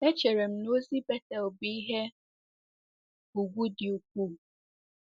Echere m na ozi Betel bụ ihe ùgwù dị ukwuu.